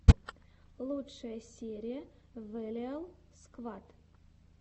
лучшая серия вэлиал сквад